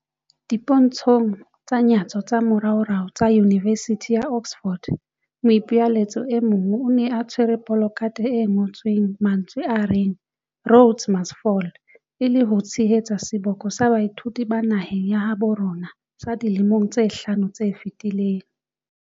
Dipontshong tsa nyatso tsa moraorao tsa Yunivesithi ya Oxford, moipelaetsi e mong o ne a tshwere polakathe e ngotsweng mantswe a reng Rhodes must Fall, e le ho tshehetsa seboko sa baithuti ba naheng ya habo rona sa dilemong tse hlano tse fetileng.